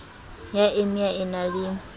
ya emia e na le